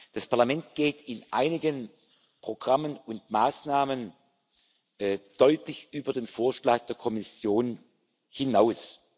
Das Parlament geht in einigen Programmen und Maßnahmen deutlich über den Vorschlag der Kommission hinaus.